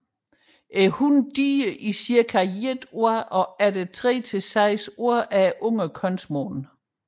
Hunnen giver die i cirka et år og efter tre til seks år er ungerne kønsmodne